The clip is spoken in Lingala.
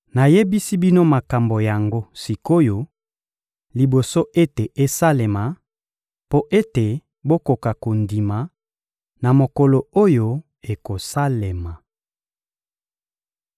Nayebisi bino makambo yango sik’oyo, liboso ete esalema, mpo ete bokoka kondima, na mokolo oyo ekosalema.